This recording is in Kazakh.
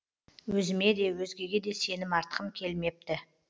өзіме де өзгеге де сенім артқым келмепті